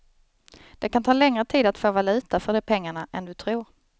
Det kan ta längre tid att få valuta för de pengarna än du tror.